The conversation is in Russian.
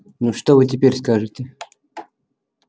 ну что вы теперь скажете